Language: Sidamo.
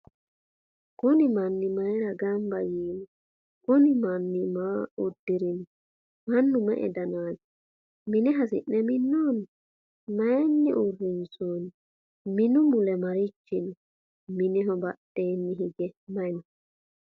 kuuni manu mayira ganba yiniho ?kuuni manu maa uddirino? manu me"e danati? mine hisine minoni? mayini urinsoni? minu mule marichi no?mineho badheni hige mayi no